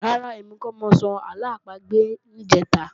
Rárá, èmi kọ́ mọ sọ àlọ́ àpagbè níjẹ̀ta